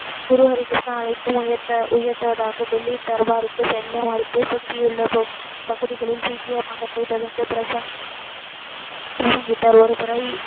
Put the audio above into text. குரு ஹரி கிருஷ்ணா அழைக்கு உயர்த்த உயர்த்துவதாக சொல்லி தர்பாருக்கு செல்லுமாறு சுற்றியுள்ள பா பகுதிகளில் சீக்கிய மதத்தை தொடர்ந்து பிரசங்கம், பிரசங்கித்தார். ஒரு முறை,